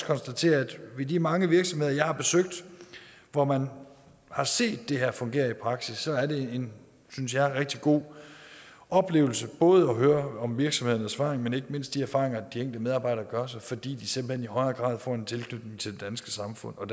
konstatere at i de mange virksomheder jeg har besøgt og hvor jeg har set det her fungere i praksis er det en synes jeg rigtig god oplevelse både at høre om virksomhedernes vej men ikke mindst de erfaringer de enkelte medarbejdere gør sig fordi de simpelt hen i højere grad får en tilknytning til det danske samfund og